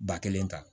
Ba kelen ta